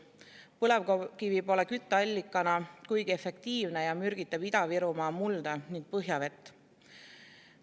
Põlevkivi pole kütteallikana kuigi efektiivne ning mürgitab Ida-Virumaa mulda ja põhjavett.